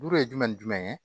Bolo ye jumɛn ni jumɛn ye